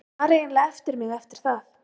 Ég var eiginlega eftir mig, eftir það.